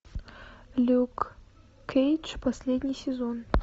люк кейдж последний сезон